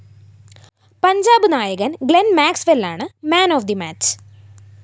പഞ്ചാബ് നായകന്‍ ഗ്ലെന്‍ മാക്‌സ്‌വെല്ലാണ് man of the match